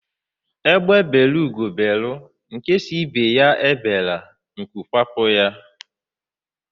Egbe bere ugo bere, nke sị ibe ya eberela, nku kwapụ ya.